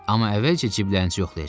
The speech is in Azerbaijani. Amma əvvəlcə ciblərinizi yoxlayacam.